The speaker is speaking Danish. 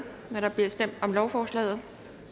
når der bliver stemt om lovforslaget